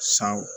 Sanw